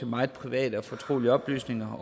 meget private og fortrolige oplysninger